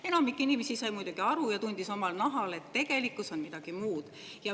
Enamik inimesi sai muidugi aru ja tundis omal nahal, et tegelikkus on midagi muud.